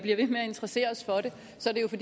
så